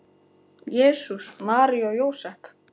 Jesús, María og Jósep!